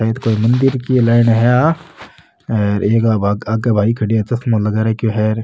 शायद कोई मंदिर की लाइन है आ आगे एक भाई खड़े है चश्मों लगा रखयो है।